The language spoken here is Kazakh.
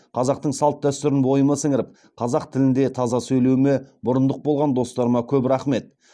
қазақтың салт дәстүрін бойыма сіңіріп қазақ тілінде таза сөйлеуіме мұрындық болған достарыма көп рахмет